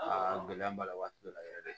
Aa gɛlɛya b'a la waati dɔ la yɛrɛ